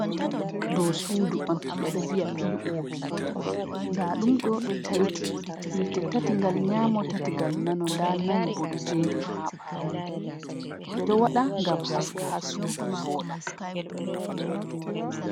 Ɗo suudu on, ɓe ɗo viya pii`oopi, nda ɗum ɗo ɗi tati, yiite tati ngal nyaamo, tati ngal nano, nda nayi bo ɗo jeeri haa ɓaawo, ɓe ɗo waɗa ngam haska haa suudu vooɗa.